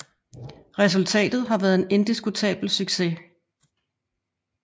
Resultatet har været en indiskutabel succes